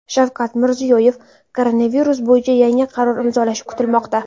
Shavkat Mirziyoyev koronavirus bo‘yicha yangi qaror imzolashi kutilmoqda.